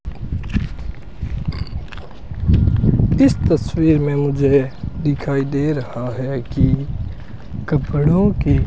इस तस्वीर में मुझे दिखाई दे रहा है कि कपड़ों के --